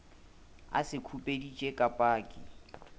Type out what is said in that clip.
a se khupeditše ka paki